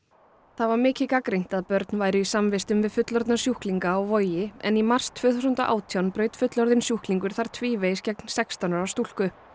það var mikið gagnrýnt að börn væru í samvistum við fullorðna sjúklinga á Vogi en í mars tvö þúsund og átján braut fullorðinn sjúklingur þar tvívegis gegn sextán ára stúlku